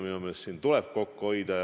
Minu meelest meil tuleb kokku hoida.